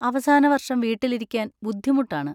അവസാന വർഷം വീട്ടിലിരിക്കാൻ ബുദ്ധിമുട്ടാണ്.